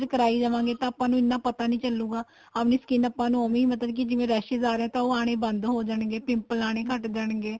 ਕਰਾਈ ਜਾਵੇਗੇ ਤਾਂ ਆਪਾਂ ਨੂੰ ਇੰਨਾ ਪਤਾ ਨਹੀਂ ਚੱਲੂਗਾ ਆਪਣੀ skin ਆਪਾਂ ਨੂੰ ਹੀ ਮਤਲਬ ਕੀ ਜਿਵੇਂ raises ਆ ਰਹੇ ਹੈ ਤਾਂ ਉਹ ਆਣੇ ਬੰਦ ਹੋ ਜਾਣਗੇ pimple ਆਣੇ ਘੱਟ ਜਾਣਗੇ